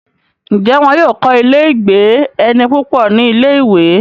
ǹjẹ́ wọ́n yóò kọ́ ilé -ìgbé-ẹni púpọ̀ ní ilé-ìwé?